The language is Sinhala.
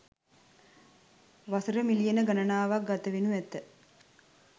වසර මිලියන ගණනාවක් ගතවෙනු ඇත